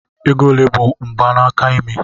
Ego ole bụ mgbanaka imi?